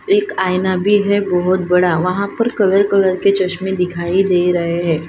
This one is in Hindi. एक आईना भी है बहोत बड़ा वहां पर कलर कलर के चश्मे दिखाई दे रहे हैं।